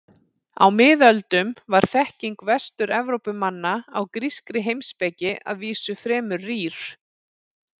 Á miðöldum var þekking Vestur-Evrópumanna á grískri heimspeki að vísu fremur rýr.